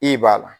I b'a la